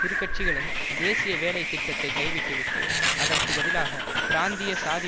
இருகட்சிகளும் தேசிய வேலைத்திட்டத்தைக் கைவிட்டுவிட்டு அதற்கு பதிலாக பிராந்திய சாதி